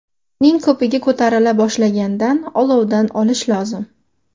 Uning ko‘pigi ko‘tarila boshlagandan olovdan olish lozim.